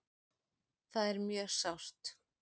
Það er mjög sárt.